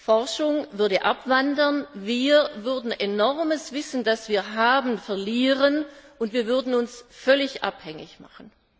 Forschung würde abwandern, wir würden enormes Wissen, das wir haben, verlieren, und wir würden uns völlig abhängig machen.